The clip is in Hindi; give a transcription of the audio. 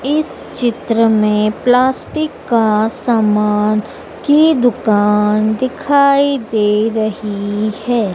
इस चित्र में प्लास्टिक का सामान की दुकान दिखाई दे रही है।